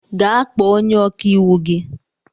Gaa kpọọ onye ọkàiwu gị!